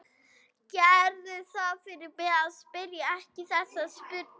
Gerðu það fyrir mig að spyrja ekki þessarar spurningar